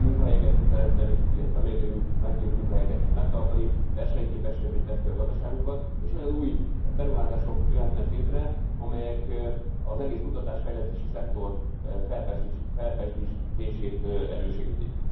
Új munkahelyeket tud teremteni, illetve meglévő munkahelyeket tud megtartani, versenyképesebbé teszi a gazdaságunkat és olyan új beruházások jöhetnek létre, amelyek az egész kutatás fejlesztési szektor felpezsdítését elősegítik.